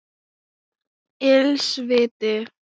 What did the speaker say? Ills viti